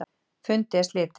Fundi er slitið.